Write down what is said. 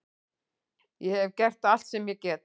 Ég hef gert allt sem ég get.